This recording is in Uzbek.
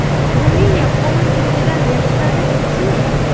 Ruminiya qonunchiligidan yashirinish uchunmi?